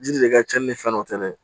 Jiri de ka cɛnni ni fɛn dɔ tɛ dɛ